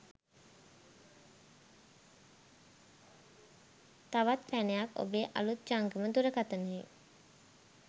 තවත් පැනයක් ඔබේ අළුත් ජංගම දුරකථනයේ